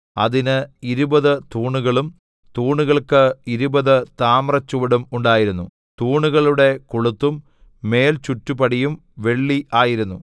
അതിന് ഇരുപത് തൂണുകളും തൂണുകൾക്ക് ഇരുപത് താമ്രച്ചുവടും ഉണ്ടായിരുന്നു തൂണുകളുടെ കൊളുത്തും മേൽചുറ്റുപടിയും വെള്ളി ആയിരുന്നു